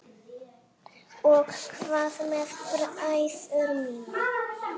Og hvað með bræður mína?